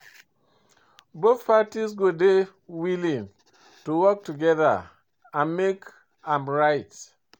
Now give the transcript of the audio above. Both parties go dey willing to work together and make am right.